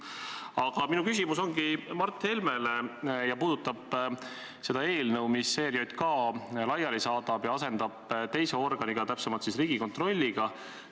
Aga minu küsimus ongi Mart Helmele ja puudutab seda eelnõu, mis ERJK laiali saadab ja asendab teise organiga, täpsemalt siis Riigikontrolliga.